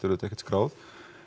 auðvitað ekkert skráð